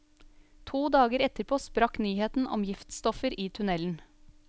To dager etterpå sprakk nyheten om giftstoffer i tunnelen.